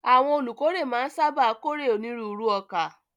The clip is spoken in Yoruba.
Àwọn olùkórè máa ń sáábà kórè onírúurú ọkà.